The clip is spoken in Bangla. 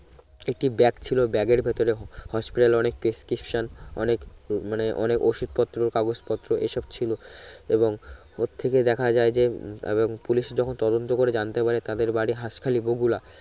একটি ব্যাগ ছিলো ব্যাগের ভিতরে Hospital এ অনেক prescription অনেক মানে অনেক ওষুধ পত্র কাগজ পত্র এই সব ছিলো এবং ওর থেকে দেখা যায় যে এব্ব পুলিশ যখন তদন্ত করে জানতে পারে তাদের বাড়ি হাসখালি বগুরা